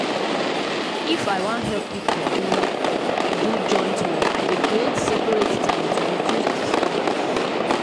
if i wan help people do do joint work i dey creat separete time to reduce disturbance.